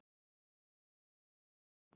Hann fór um nótt.